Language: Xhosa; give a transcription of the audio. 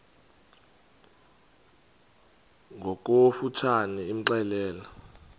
ngokofu tshane imxelele